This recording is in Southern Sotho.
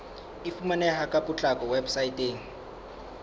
e fumaneha ka potlako weposaeteng